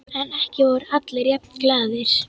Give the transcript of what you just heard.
En ekki voru allir jafn glaðir.